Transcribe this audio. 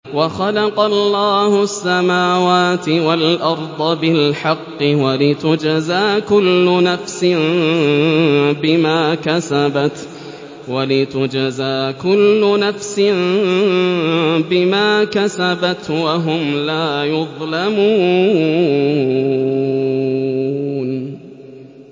وَخَلَقَ اللَّهُ السَّمَاوَاتِ وَالْأَرْضَ بِالْحَقِّ وَلِتُجْزَىٰ كُلُّ نَفْسٍ بِمَا كَسَبَتْ وَهُمْ لَا يُظْلَمُونَ